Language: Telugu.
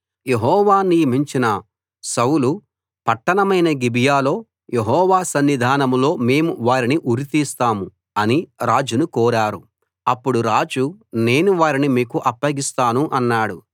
యెహోవా నియమించిన సౌలు పట్టణమైన గిబియాలో యెహోవా సన్నిధానంలో మేము వారిని ఉరితీస్తాం అని రాజును కోరారు అప్పుడు రాజు నేను వారిని మీకు అప్పగిస్తాను అన్నాడు